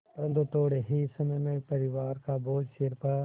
परन्तु थोडे़ ही समय में परिवार का बोझ सिर पर